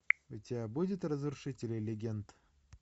у тебя будет разрушители легенд